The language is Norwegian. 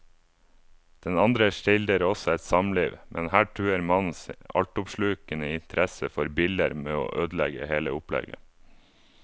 Den andre skildrer også et samliv, men her truer mannens altoppslukende interesse for biller med å ødelegge hele opplegget.